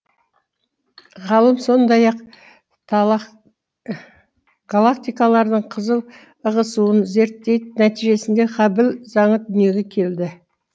ғалым сондай ақ галактикалардың қызыл ығысуын зерттеді нәтижесінде хаббл заңы дүниеге келді